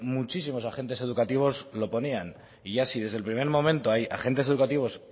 muchísimos agentes educativos lo ponían y ya si desde el primer momento hay agentes educativos